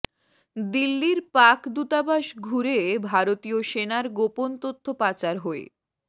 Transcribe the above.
দিল্লির পাক দূতাবাস ঘুরে ভারতীয় সেনার গোপন তথ্য পাচার হয়ে